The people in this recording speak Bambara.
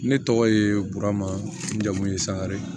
Ne tɔgɔ ye burama n jamu ye sangare